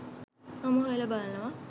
මම හොයලා බලනවා.